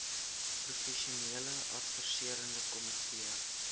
professionele adviserende komitee